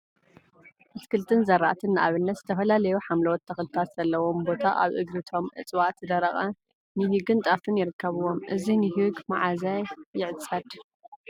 አትልቲን ዝራእቲን ንአብነት ዝተፈላለዩ ሓምለዎት ተክሊታ ዘለውዎ ቦታ አብ እግሪ እቶም እፅዋት ዝደረቀ ንሂግን ጣፍን ይርከቡዎም፡፡ እዚ ንሂግ መዓዘ ይዕፀድ?